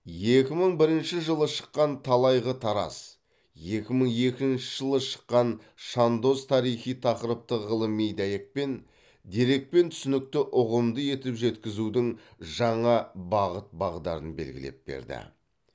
екі мың бірінші жылы шыққан талайғы тараз екі мың екінші жылы шыққан шандоз тарихи тақырыпты ғылыми дәйекпен дерекпен түсінікті ұғымды етіп жеткізудің жаңа бағыт бағдарын белгілеп берді